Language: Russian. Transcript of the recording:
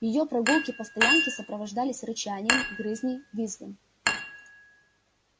её прогулки по стоянке сопровождались рычанием грызней визгом